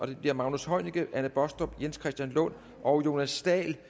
det bliver magnus heunicke anne baastrup jens christian lund og jonas dahl